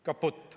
Kaputt.